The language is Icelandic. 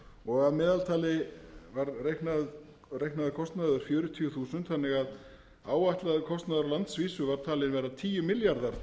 og að meðaltali var reiknaður kostnaður fjörutíu þúsund þannig að áætlaður kostnaður á landsvísu var talinn vera tíu milljarðar